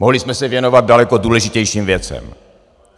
Mohli jsme se věnovat daleko důležitějším věcem.